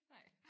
Nej